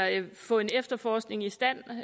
at få en efterforskning i stand